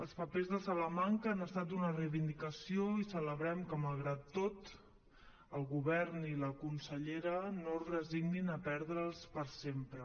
els papers de salamanca han estat una reivindicació i celebrem que malgrat tot el govern i la consellera no es resignin a perdre’ls per sempre